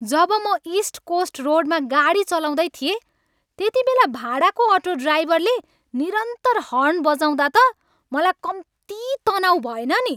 जब म east coast रोडमा गाडी चलाउँदै थिएँ त्यतिबेला भाडाको अटो ड्राइभरले निरन्तर हर्न बजाउँदा त मलाई कम्ति तनाउ भएन नि।